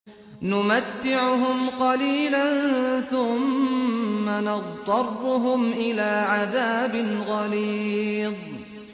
نُمَتِّعُهُمْ قَلِيلًا ثُمَّ نَضْطَرُّهُمْ إِلَىٰ عَذَابٍ غَلِيظٍ